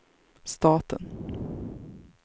staten